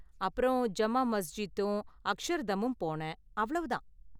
அப்பறம் ஜம்மா மஸ்ஜித்தும் அக்ஷர்தமும் போனேன்; அவ்வளவு தான்.